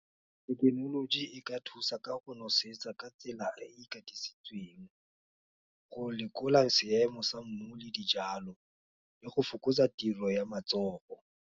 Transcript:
Thekenoloji e ka thusa ka go nosetsa ka tsela e katisitsweng, go lekola seemo sa mmu, le dijalo, le go fokotsa tiro ya matsogo.